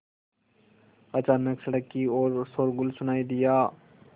अचानक सड़क की ओर शोरगुल सुनाई दिया